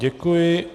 Děkuji.